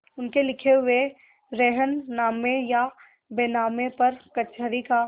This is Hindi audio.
उनके लिखे हुए रेहननामे या बैनामे पर कचहरी का